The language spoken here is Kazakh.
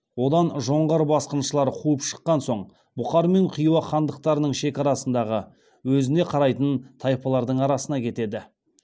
одан жоңғар басқыншылары қуып шыққан соң бұқар мен хиуа хандықтарының шекарасындағы өзіне қарайтын тайпалардың арасына кетеді